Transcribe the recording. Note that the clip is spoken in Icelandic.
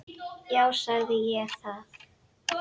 Já, sagði ég það?